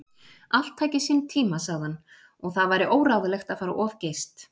Allt tæki sinn tíma, sagði hann, og það væri óráðlegt að fara of geyst.